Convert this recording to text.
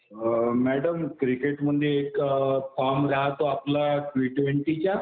Madam क्रिकेटमध्ये एक form राहतो आपला टि ट्वेन्टीचा.